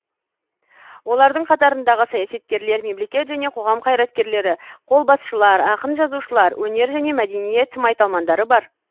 олардың қатарындағы саясаткерлер мемлекет және қоғам қайраткерлері қолбасшылар ақын жазушылар өнер және мәдениет майталмандары бар